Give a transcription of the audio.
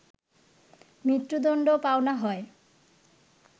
মৃত্যুদণ্ড পাওনা হয়